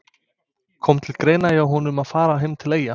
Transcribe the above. Kom til greina hjá honum að fara heim til Eyja?